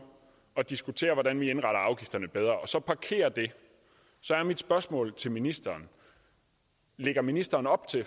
at diskutere hvordan vi indretter afgifterne bedre og så parkerer det så er mit spørgsmål til ministeren lægger ministeren op til